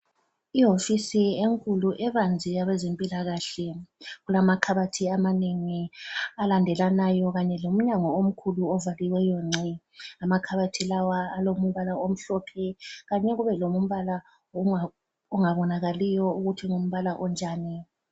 Ihofisi enkulu ebanzi yabazempilakahle, kulamakhabathi amanengi alandelanayo kanye lomnyango omkhulu ovaliweyo ngci. Amakhabathi lawa alombala omhlophe kanye kube lombala ongabonakaliyo ukuthi ngumbala onjani.